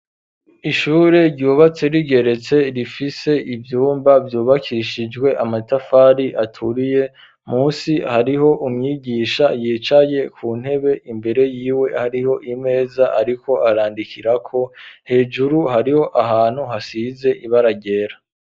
Ishure ryubatse rigeretse, rifise ivyumba vyubakishijwe amatafari aturiye, munsi hariho umyigisha yicaye ku ntebe, imbere yiwe hariho imeza ariko arandikirako, hejuru hariho ahantu hasize ibara ryera.